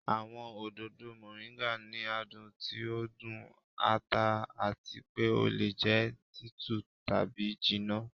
Awọn ododo Moringa ni adun ti o dun, ata ati pe o le jẹ titun tabi jinna.